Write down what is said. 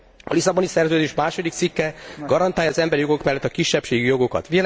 A Lisszaboni Szerződés második cikke garantálja az emberi jogok felett a kisebbségi jogokat.